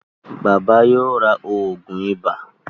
Bàbá yóò rá oògùn iba.